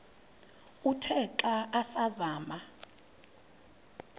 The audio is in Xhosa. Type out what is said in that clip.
uthe xa asazama